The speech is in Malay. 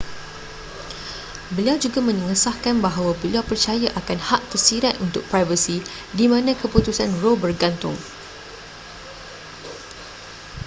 beliau juga mengesahkan bahawa beliau percaya akan hak tersirat untuk privasi di mana keputusan roe bergantung